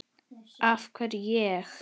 af hverju ég?